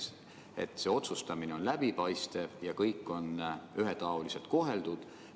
Kuidas te tagate, et see otsustamine on läbipaistev ja kõik on ühetaoliselt koheldud?